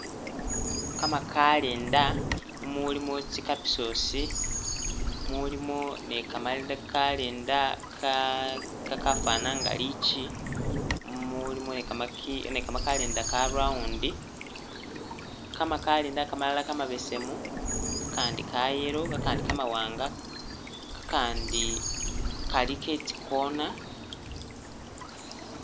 Kamakalenda mumulimo tsikapisosi mulimo ni'kamakalenda kakafana nga lichi mulimo ni'kamakalenda ka'round kamakalenda kamalala kamabesemu, kakandi ka'yellow, kakandi kamawanga, kakandi Kali ketsikona